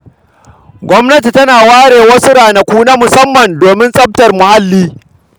Gwamnati tana ware wasu ranaku na musamman domin tsaftar muhalli.